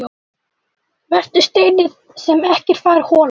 Vertu steinninn sem ekkert fær holað.